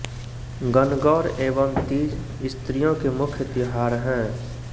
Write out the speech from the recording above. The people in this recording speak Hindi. गनगौर एवं तीज स्रियों के मुख्य त्योहार हैं